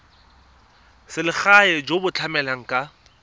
selegae jo bo tlamelang ka